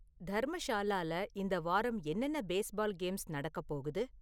தர்மஷாலால இந்த வாரம் என்னென்ன பேஸ்பால் கேம்ஸ் நடக்கப்போகுது?